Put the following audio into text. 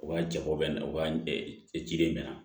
U ka jabɔ bɛ na u ka ciden bɛ na